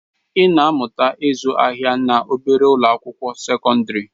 Ị na-amụta ịzụ ahịa na obere ụlọ akwụkwọ sekọndrị.